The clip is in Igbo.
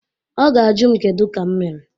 Ọ ga ajụ m kedu ka m mere.